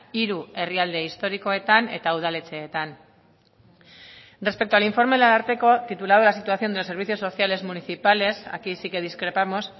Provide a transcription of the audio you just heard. hiru herrialde historikoetan eta udaletxeetan respecto al informe del ararteko titulado la situación de los servicios sociales municipales aquí sí que discrepamos